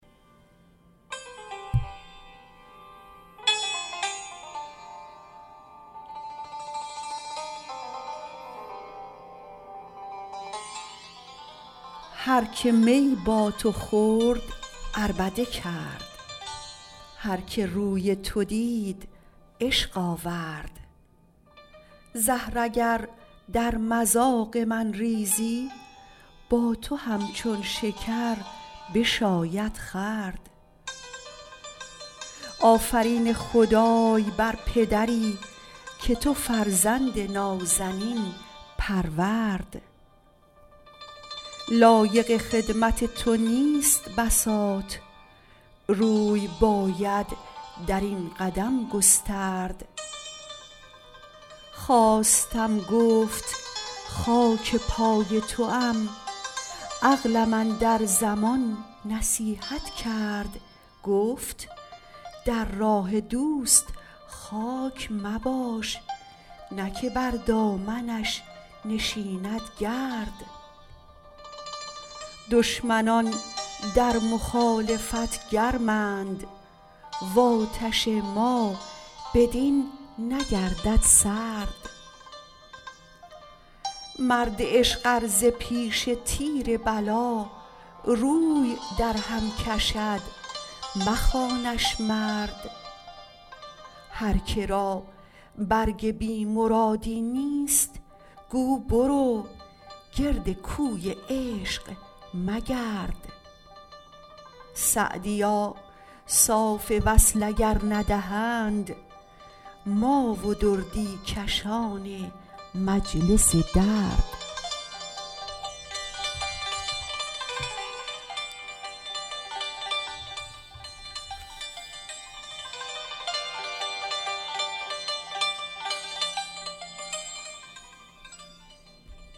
هر که می با تو خورد عربده کرد هر که روی تو دید عشق آورد زهر اگر در مذاق من ریزی با تو همچون شکر بشاید خورد آفرین خدای بر پدری که تو فرزند نازنین پرورد لایق خدمت تو نیست بساط روی باید در این قدم گسترد خواستم گفت خاک پای توام عقلم اندر زمان نصیحت کرد گفت در راه دوست خاک مباش نه که بر دامنش نشیند گرد دشمنان در مخالفت گرمند و آتش ما بدین نگردد سرد مرد عشق ار ز پیش تیر بلا روی درهم کشد مخوانش مرد هر که را برگ بی مرادی نیست گو برو گرد کوی عشق مگرد سعدیا صاف وصل اگر ندهند ما و دردی کشان مجلس درد